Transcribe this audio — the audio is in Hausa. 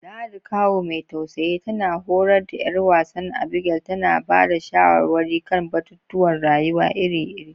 Ladi, kawu mai tausayi, tana horar da ’yar wansa Abigail, tana ba da shawarwari kan batutuwan rayuwa iri-iri.